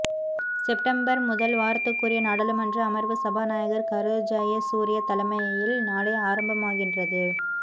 September முதல் வாரத்துக்குரிய நாடாளுமன்ற அமர்வு சபாநாயகர் கரு ஜயசூரிய தலைமையில் நாளை ஆரம்பமாகின்றது